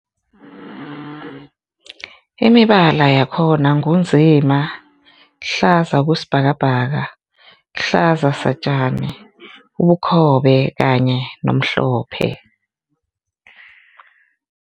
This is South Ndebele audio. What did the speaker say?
Imibala yakhona ngu nzima, hlaza okwesibhakabhaka, hlaza satjani, ubukhobe kanye nomhlophe.